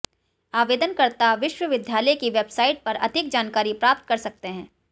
आवेदनकर्ता विश्वविद्यालय की वेबसाइट पर अधिक जानकारी प्राप्त कर सकते हैं